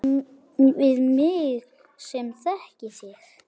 Við mig sem þekki þig.